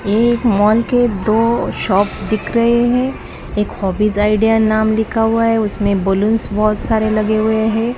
एक मॉल के दो शॉप दिख रहे हैं एक हॉबीज आइडिया नाम लिखा हुआ है उसमें बलूंस बहुत सारे लगे हुए हैं।